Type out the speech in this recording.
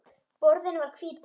Borðinn var hvítur.